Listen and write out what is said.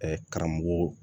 karamɔgɔw